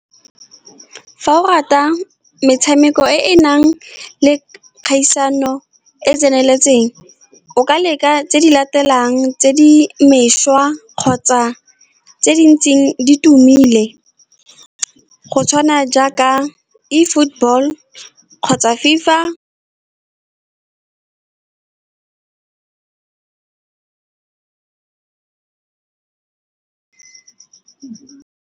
Fa o rata metshameko e e nang le kgaisano e e tseneletseng, o ka leka tse di latelang, tse di mešwa kgotsa tse di ntseng di tumile, go tshwana jaaka e-football-o kgotsa FIFA.